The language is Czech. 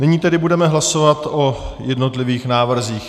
Nyní tedy budeme hlasovat o jednotlivých návrzích.